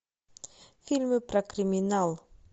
фильмы про криминал